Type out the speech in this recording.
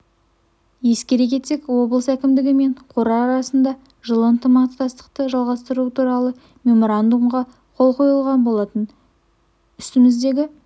ескере кетсек облыс әкімдігі мен қор арасында жылы ынтымақтастықты жалғастыру туралы меморандумға қол қойылған болатын үстіміздегі